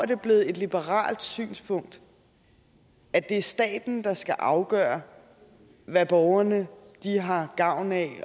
det blevet et liberalt synspunkt at det er staten der skal afgøre hvad borgerne har gavn af